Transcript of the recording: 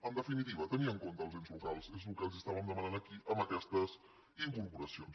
en definitiva tenir en compte els ens locals és el que els estàvem demanant aquí amb aquestes incorpora·cions